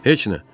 Heç nə.